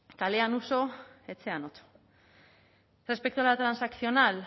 kalean uso etxean otso respecto a la transaccional